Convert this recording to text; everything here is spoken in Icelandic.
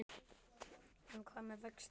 En hvað með vextina?